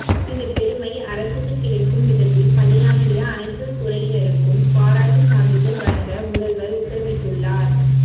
இந்த பெருமை அரசுக்கு கிடைக்கும் விதத்தில் பணியாற்றிய அனைத்து துறையினருக்கும் பாராட்டு சான்றிதழ் வழங்க முதல்வர் உத்தரவிட்டுள்ளார்